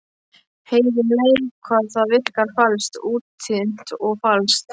Heyrir um leið hvað það virkar falskt, útþynnt og falskt.